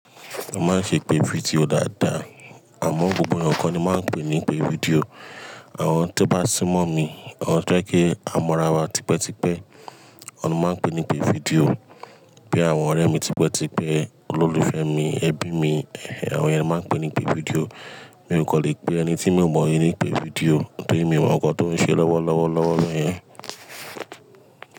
A máa ń ṣèpè fídíò dáadáa. Àmọ́ gbogbo eyaǹ kó ni máa ń pè ní ìpè fídíò. Àwọn tó bá sínmọ̀ mi, àwọn tó jẹ́ kí a mọra wa tipẹ́tipẹ́, awọn ni mó máa ń pè ní ìpè fídíò. Bí i àwọn ọ̀rẹ́ mi tipẹ́tipẹ́, olólùfẹ́ mi, ẹbí mi, àwọn yen ni mo máa ń pè ní ìpè fídíò. Mi ò kò lè pè ẹni tí mi ò mọ̀ ní ìpè fídíò torí mi ò mọ̀ ǹkan tó ń ṣe lọ́wọ́, lọ́wọ́, lọ́wọ́ béyẹn.